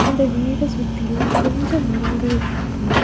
அந்த வீட சுத்தியு கொஞ்ச மரங்கள்ருக்கு.